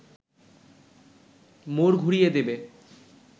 মোড় ঘুরিয়ে দেবে